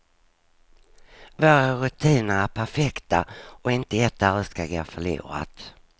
Våra rutiner är perfekta och inte ett öre ska gå förlorat.